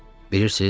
Bilirsiz?